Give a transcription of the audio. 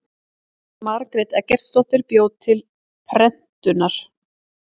margrét eggertsdóttir bjó til prentunar